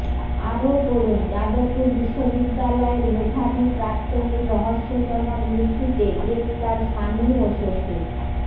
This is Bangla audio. আরও পড়ুন যাদবপুর বিশ্ববিদ্যালয়ের মেধাবী প্রাক্তনীর রহস্যজনক মৃত্যুতে গ্রেফতার স্বামী ও শ্বশুর